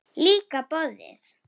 Líka borðið.